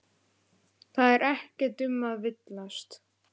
Það er ekkert um að villast.